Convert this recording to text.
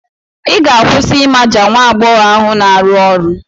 Ị ga-akwụsị ịmaja nwa agbọghọ ahụ na-arụ ọrụ.